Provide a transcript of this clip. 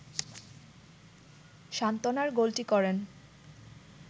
সান্ত্বনার গোলটি করেন